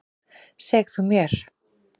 Seg þú mér.